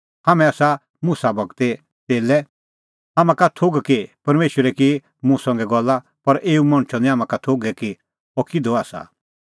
हाम्हां का आसा थोघ कि परमेशरै की मुसा संघै गल्ला पर एऊ मणछो निं हाम्हां का थोघै कि अह किधो आसा